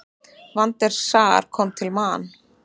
Van der Sar kom til Man.